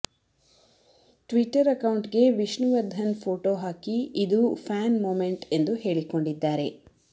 Twitter account ಗೆ Vishnuvardhan photo ಹಾಕಿ ಇದು ಫ್ಯಾನ್ ಮೊಮೆಂಟ್ ಎಂದು ಹೇಳಿಕೊಂಡಿದ್ದಾರೆ